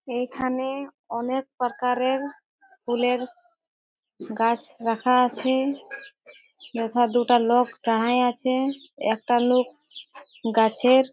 এইখানে অনেক পকারের ফুলের গাছ রাখা আছে। এথা দুটো লোক দাঁড়ায় আছে। একটা লোক গাছের --